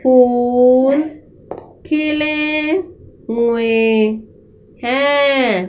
फूल खिले हुए हैं।